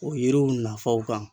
O yiriw nafaw kan.